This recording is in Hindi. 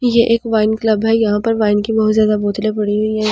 ये एक वाइन क्लब है यहाँ पर वाइन की बहुत ज्यादा बोतलें पड़ी हुई है यहां पर टेबल --